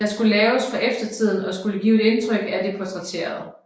De skulle laves for eftertiden og skulle give et indtryk af den portrætterede